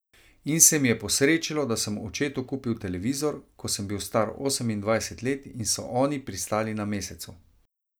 In se mi je posrečilo, da sem očetu kupil televizor, ko sem bil star osemindvajset let in so oni pristali na Mesecu.